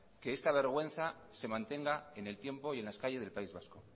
que esta vergüenza se mantenga en el tiempo y en las calles del país vasco